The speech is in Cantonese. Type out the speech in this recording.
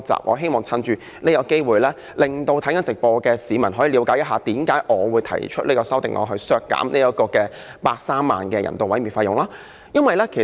我希望藉此機會，令收看直播的市民了解我為何提出這項修正案，削減130萬元人道處理動物的費用。